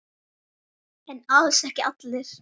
En alls ekki allir.